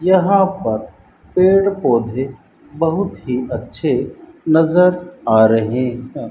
यहां पर पेड़ पौधे बहुत ही अच्छे नज़र आ रहे है।